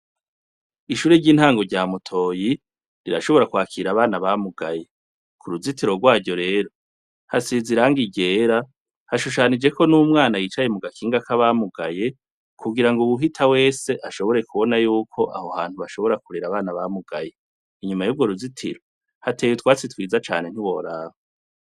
Ishuri ry'intango rya Mutoyi, rirashobora kwakira abana bamugaye. Ku ruzitiro rwaryo rero, hasize irangi iryera, hashushanijeko n'umwana yicaye mu gakinga k'abamugaye, kugira ngo uwuhita wese ashobore kubona yuko aho hantu bashobora kurera abana bamugaye. Inyuma y'urwo ruzitiro, hateye utwatsi twiza cane ntiworaba.